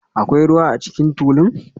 Akwai ruwa a cikin tulun?